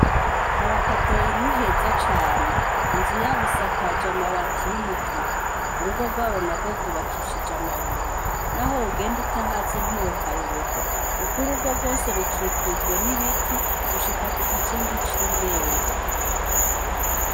Kwaba Kadoyi ni heza cane inzu yabo isakaje amabati y' umutuku urugo gwabo nagwo gwubakishije amabuye naho wogenda utahazi ntiwohayobegwa kuko urugo gwose rukikujwe n' ibiti gushika kugikingi c' irembo.